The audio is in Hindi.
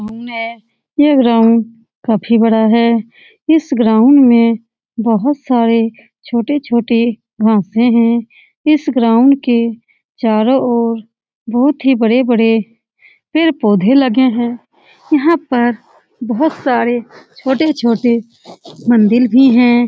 घूमने यह ग्राउंड काफी बड़ा है इस ग्राउंड में बहुत सारे छोटे-छोटे घासे हैं इस ग्राउंड के चारो ओर बहुत ही बड़े-बड़े पेड़-पोधे लगे हैं यहाँ पर बहुत सारे छोटे-छोटे मंदिर भी हैं ।